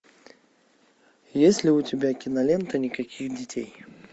есть ли у тебя кинолента никаких детей